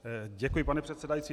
Děkuji, pane předsedající.